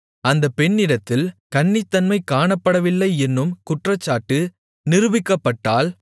அந்தப் பெண்ணிடத்தில் கன்னித்தன்மை காணப்படவில்லையென்னும் குற்றச்சாட்டு நிரூபிக்கப்பட்டால்